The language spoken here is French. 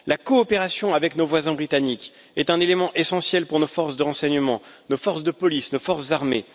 La coopération avec nos voisins britanniques est un élément essentiel pour nos forces de renseignements, nos forces de police et nos forces armées.